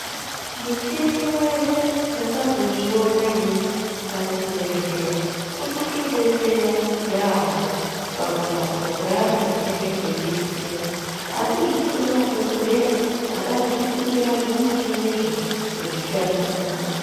Muchini weshe ndakazozviona inini pachibhedhleya unotodetsera yambo pakurapwa kweantu munenge kweiitikepo asi zvinode madhokodheya akazvifundira zvimuchinizvo kuzvishandisa.